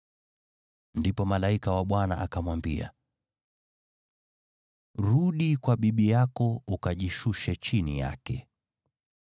Ndipo malaika wa Bwana akamwambia, “Rudi kwa bibi yako ukajishushe chini yake.”